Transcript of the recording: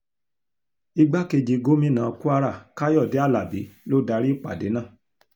igbákejì gómìnà kwara káyọ̀dé alábí ló darí ìpàdé náà